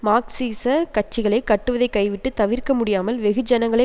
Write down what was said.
மார்க்சிச கட்சிகளை கட்டுவதை கைவிட்டு தவிர்க்க முடியாமல் வெகுஜனங்களை